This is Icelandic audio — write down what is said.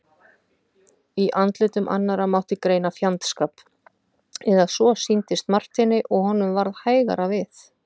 Í andlitum annarra mátti greina fjandskap, eða svo sýndist Marteini og honum varð hægara við.